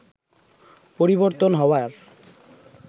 পরিবর্তন হওয়ার